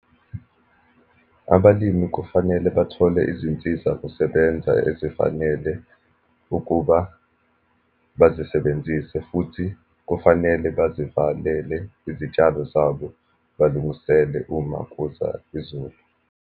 Abalimi kufanele bathole izinsizakusebenza ezifanele ukuba bazisebenzise, futhi kufanele bazivalele izitshalo zabo, balungisele uma kuza izulu.